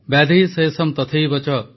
ବ୍ୟାଧିଃ ଶେଷମ୍ ତଥୈବଚ